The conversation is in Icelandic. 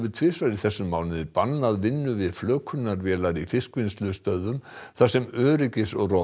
tvisvar þessum mánuði bannað vinnu við flökunarvélar í fiskvinnslustöðvum þar sem